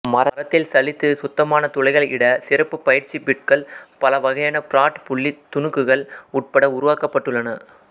மரத்தில் சலித்து சுத்தமான துளைகள் இட சிறப்பு பயிற்சி பிட்கள் பல வகையான பிராட் புள்ளி துணுக்குகள் உட்பட உருவாக்கப்பட்டுள்ளன